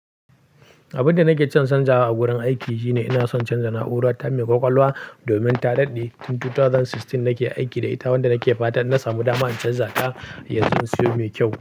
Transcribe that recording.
Abin da nake son canzawa a wurin aiki shine ina son canza na'ura ta mai ƙwaƙwalwa domin ta daɗe tun 2016 nake aiki da ita wanda nake fata na samu dama in canza ta yanzu in siyo mai kyau.